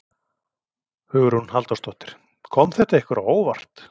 Hugrún Halldórsdóttir: Kom þetta ykkur á óvart?